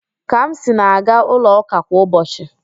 Kamsi na-aga ụlọ ụka kwa ụbọchị